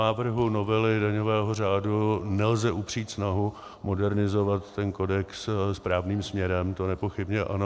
Návrhu novely daňového řádu nelze upřít snahu modernizovat ten kodex správným směrem, to nepochybně ano.